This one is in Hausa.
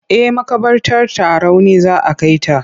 Eh maƙabartar Tarauni za a kai ta.